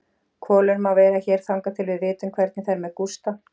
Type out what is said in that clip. Kolur má vera hér þangað til við vitum hvernig fer með Gústa.